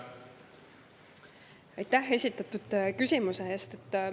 Aitäh esitatud küsimuse eest!